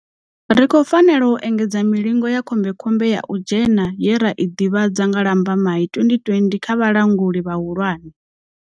Ri khou fanela u engedza milingo ya khombekhombe ya u dzhena ye ra i ḓivhadza nga Lambamai 2020 kha vhalanguli vhahulwane.